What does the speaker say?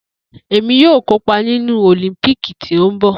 Emi yoo kopa ninu Olimpiiki ti nbọ